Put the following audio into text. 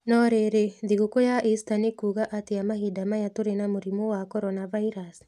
No rĩrĩ, thigũkũ ya Ista nĩ kuuga atĩa mahinda maya tũrĩ na mũrimũ wa Corona Virus?